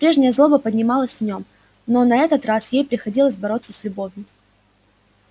прежняя злоба поднималась в нём но на этот раз ей приходилось бороться с любовью